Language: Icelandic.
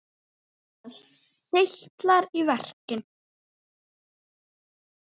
Og það seytlar í verkin.